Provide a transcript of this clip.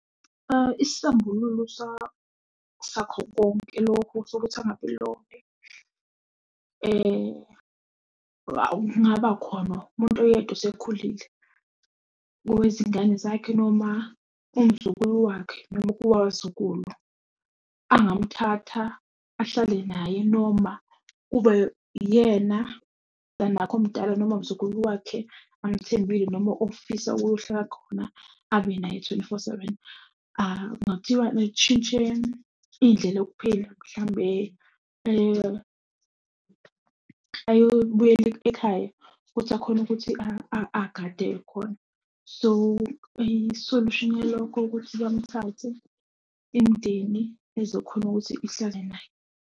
Isisambululo sakho konke lokhu sokuthi angabi lonely, kungaba khona umuntu oyedwa osekhulile kowezingane zakhe noma umzukulu wakhe . Angamuthatha ahlale naye noma kube yena la nakho omdala noma umzukulu wakhe amthembise noma ofisa ukuyohlala khona abe naye twenty-four seven. Kungathiwa uma kutshintshe indlela yokuphila mhlambe eyobuyele ekhaya, ukuthi akhone ukuthi agade khona. So, isolushini yalokho ukuthi bamthathe imindeni ezokhona ukuthi ihlale naye.